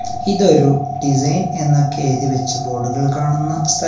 ഇത് ഒരു ഡിസൈൻ എന്നൊക്കെ എഴുതി വെച്ച ബോർഡുകൾ കാണുന്ന സ്ഥ--